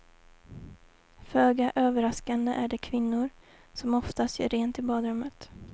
Föga överraskande är det kvinnor som oftast gör rent i badrummet.